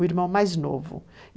o irmão mais novo.